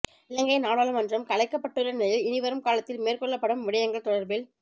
இலங்கை நாடாளுமன்றம் கலைக்கப்பட்டுள்ள நிலையில் இனிவரும் காலத்தில் மேற்கொள்ளப்படும் விடயங்கள் தொடர்பில